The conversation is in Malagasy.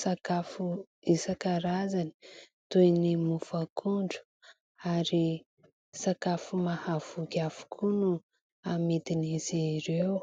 sakafo isankarazany toy ny mofo akondro ary sakafo mahavoky avokoa no hamidin'izy ireo.